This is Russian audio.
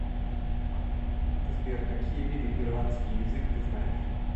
сбер какие виды ирландский язык ты знаешь